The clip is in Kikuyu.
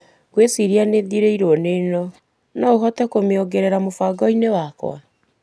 Ngwĩciria nĩ thirĩirwo nĩ ĩno, no ũhote kumĩongerera mũbango-inĩ wakwa.